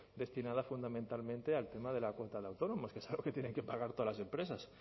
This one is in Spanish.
destinadas fundamentalmente al tema de la cuota de autónomos que es algo que tienen que pagar todas las empresas